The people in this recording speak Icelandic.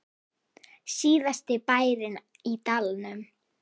Síðasti bærinn í dalnum